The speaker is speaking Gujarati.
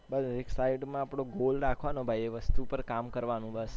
side માં એક goal રાખવાનો ભાઈ એ વસ્તુ પર કામ કરવાનું બસ